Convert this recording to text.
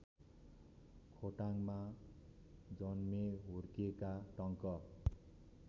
खोटाङमा जन्मेहुर्केका टंक